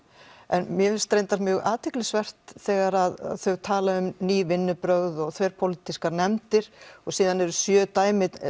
en mér finnst reyndar mjög athyglisvert þegar þau tala um ný vinnubrögð og þverpólitískar nefndir og síðan eru sjö dæmi